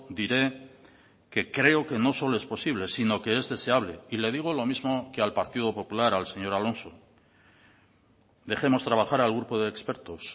diré que creo que no solo es posible sino que es deseable y le digo lo mismo que al partido popular al señor alonso dejemos trabajar al grupo de expertos